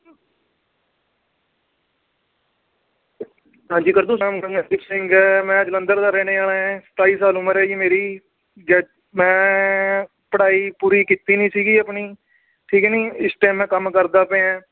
ਹਾਂਜੀ ਸਿੰਘ ਹੈ ਮੈਂ ਜਲੰਧਰ ਦਾ ਰਹਿਣੇ ਵਾਲਾ ਹੈ ਸਤਾਈ ਸਾਲ ਉਮਰ ਹੈ ਜੀ ਮੇਰੀ ਜ~ ਮੈਂ ਪੜ੍ਹਾਈ ਪੂਰੀ ਕੀਤੀ ਨੀ ਸੀਗੀ ਆਪਣੀ, ਠੀਕ ਹੈ ਨੀ ਇਸ time ਮੈਂ ਕੰਮ ਕਰਦਾ ਪਿਆਂ